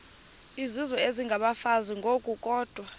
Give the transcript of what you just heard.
izizwe isengabafazi ngokukodwa